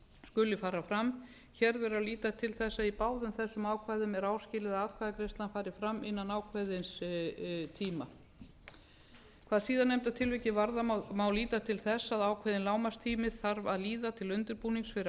skuli fara fram hér gerð að líta til þess að í báðum þessum ákvæðum er áskilið að atkvæðagreiðslan fari fram innan ákveðins tíma hvað síðar nefnda tilvikið varðar má líta til þess að ákveðinn lágmarkstími þarf að líða til undirbúnings fyrir